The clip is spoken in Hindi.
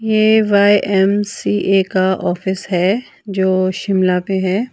ए_वाय_एम_सी_ए का ऑफिस है जो शिमला पे है.